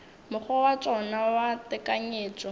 mokgwa wa tšona wa tekanyetšo